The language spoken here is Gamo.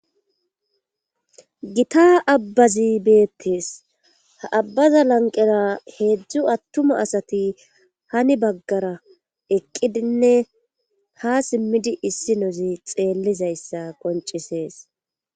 gita abbazi beettees abbaza lanqera heedzdzu attuma asati hani baggara eqqidinne ha simmidi issi nozi xeellizayssa qoncisees